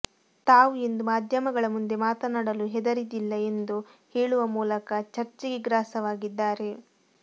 ತಾವು ಎಂದು ಮಾಧ್ಯಮಗಳ ಮುಂದೆ ಮಾತನಾಡಲು ಹೆದರಿದಿಲ್ಲ ಎಂದು ಹೇಳುವ ಮೂಲಕ ಚರ್ಚೆಗೆ ಗ್ರಾಸವಾಗಿದ್ದಾರೆ